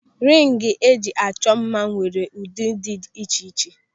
Ringi eji achọ mma nwere ụdị dị iche iche.